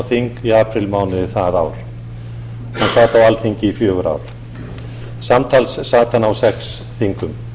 þing í apríl mánuði þar ár hann sat á alþingi í fjögur ár samtals sat hann á sex þingum